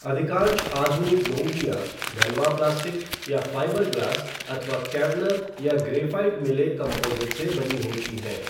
अधिकांश आधुनिक डोंगियाँ ढलवां प्लास्टिक या फ़ाइबर ग्लास अथवा केवलर या ग्रेफ़ाइट मिले कंपोज़िट से बनी होती हैं।